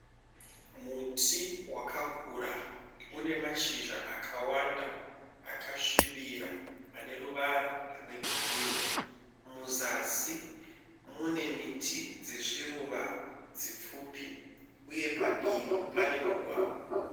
Muti wakakura une mashizha akawanda akasvibira ane ruwara rwe girini. Muzasi mune miti dzezviruwa dzipfupi uye padivi pane mugwagwa.